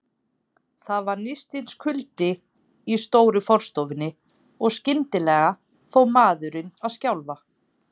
Það var nístandi kuldi í stóru forstofunni, og skyndilega fór maðurinn að skjálfa.